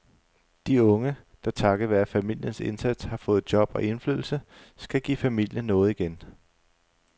De unge, der takket være familiens indsats har fået job og indflydelse, skal give familien noget igen.